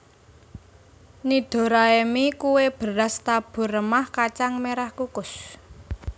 Nidoraemi kue beras tabur remah kacang merah kukus